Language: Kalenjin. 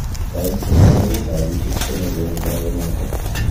Kaimset ab orit ab etit konekunu boroinotok